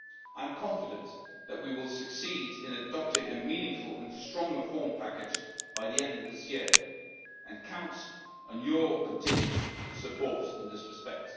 I am confident that we will succeed in adopting a meaningful and strong reform package by the end of this year, and I count on your continued support in this respect.